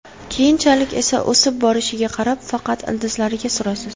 Keyinchalik esa o‘sib borishiga qarab, faqat ildizlariga surasiz.